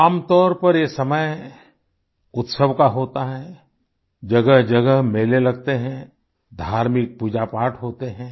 आमतौर पर ये समय उत्सव का होता है जगहजगह मेले लगते हैं धार्मिक पूजापाठ होते हैं